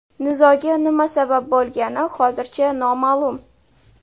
Nizoga nima sabab bo‘lgani hozircha noma’lum.